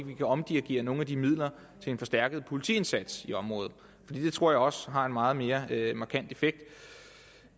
vi kan omdirigere nogle af de midler til en forstærket politiindsats i området for det tror jeg også har en meget mere markant effekt